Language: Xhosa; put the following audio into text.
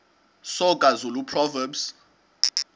soga zulu proverbs